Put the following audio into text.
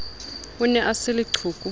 o ne a se leqhoko